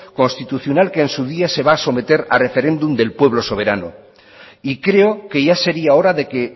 constitucional que en su día se va a someter a referéndum del pueblo soberano y creo que ya sería hora de que